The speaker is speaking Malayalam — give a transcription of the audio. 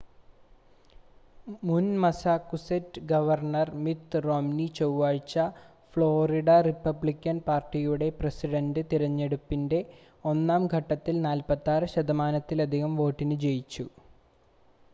മുൻ മസ്സാകുസെറ്റ്സ് ഗവർണ്ണർ മിത് റോംനി ചൊവ്വഴ്ച ഫ്ലോറിഡ റിപ്പബ്ലിക്കൻ പാർട്ടിയുടെ പ്രെസിഡന്റ് തെരഞ്ഞെടുപ്പിന്റെ ഒന്നാം ഘട്ടത്തിൽ 46 ശതമാനത്തിലധികം വോട്ടിന് ജയിച്ചു